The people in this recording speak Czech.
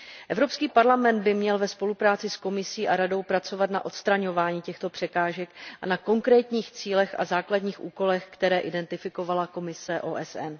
Evropský parlament by měl ve spolupráci s Komisí a Radou pracovat na odstraňování těchto překážek a na konkrétních cílech a základních úkolech, které identifikoval výbor OSN.